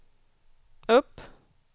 upp